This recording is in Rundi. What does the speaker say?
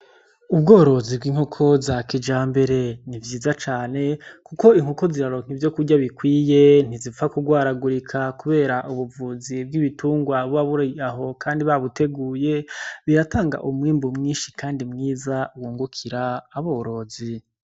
Ubworozi bw'inkoko za kijambere ni vyiza cane kuko inkoko ziraronka ivyokurya bikwiye ntizipfa kugwaragurika kubera ubuvuzi bw'ibitungwa buba buri aho kandi babuteguye biratanga umwimbu mwinshi kandi mwiza wungukira aborozi.